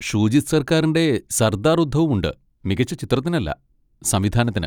ഷൂജിത് സർക്കാറിൻ്റെ സർദാർ ഉദ്ധവും ഉണ്ട്, മികച്ച ചിത്രത്തിനല്ല, സംവിധാനത്തിന്.